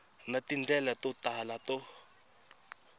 na tindlela to tala to